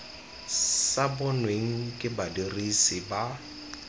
sa bonweng ke badirisi ba